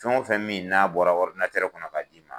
Fɛn wo fɛn min n'a bɔra kɔnɔ ka d'i ma